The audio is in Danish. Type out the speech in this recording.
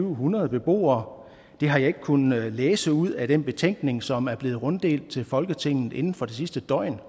en hundrede beboere det har jeg ikke kunnet læse ud af den betænkning som er blevet runddelt til folketinget inden for det sidste døgn